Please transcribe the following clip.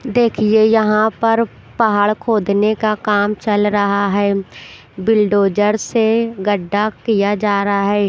देखिए यहाँ पर पहाड़ खोदने का काम चल रहा है बिलडोजर से गड्ढा किया जा रहा है।